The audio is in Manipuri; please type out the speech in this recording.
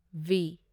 ꯚꯤ